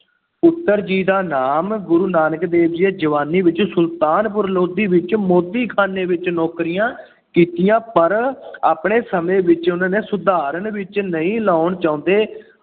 ਪੁੱਤਰ ਜੀ ਦਾ ਨਾਮ। ਗੁਰੂ ਨਾਨਕ ਦੇਵ ਜੀ ਨੇ ਜਵਾਨੀ ਵਿੱਚ ਸੁਲਤਾਨਪੁਰ ਲੋਧੀ ਵਿੱਚ ਮੋਦੀਖਾਨੇ ਵਿੱਚ ਨੌਕਰੀਆਂ ਕੀਤੀਆਂ ਪਰ ਆਪਣੇ ਸਮੇਂ ਵਿੱਚ ਉਹਨਾ ਨੇ ਸਧਾਰਨ ਵਿੱਚ ਨਹੀਂ ਲਾਉਣ ਚਾਹੁੰਦੇ।